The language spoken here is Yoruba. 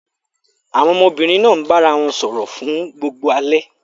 Àwọn ọmọbìnrin náà bára wọn sọ̀rọ̀ fún gbogbo alẹ́.